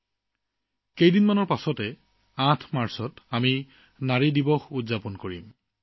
বন্ধুসকল অতি সোনকালে আমি ৮ মাৰ্চত নাৰী দিৱস উদযাপন কৰিম